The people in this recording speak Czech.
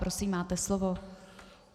Prosím, máte slovo.